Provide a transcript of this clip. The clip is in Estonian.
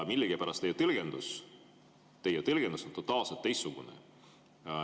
Millegipärast teie tõlgendus on totaalselt teistsugune.